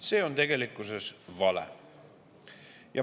See on tegelikkuses vale.